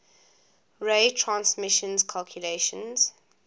ray transition calculations